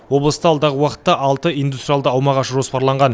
облыста алдағы уақытта алты индустриалды аумақ ашу жоспарланған